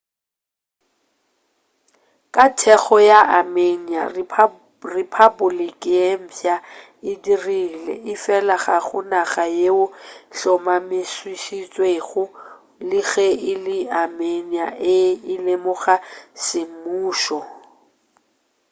ka thekgo ya armenia rephapoliki ye mfsa e dirilwe efela ga go naga yeo e hlomamišitšwego le ge e le armenia e e lemoga semmušo